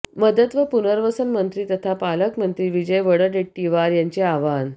मदत व पुनर्वसन मंत्री तथा पालकमंत्री विजय वडडेट्टीवार यांचे आवाहन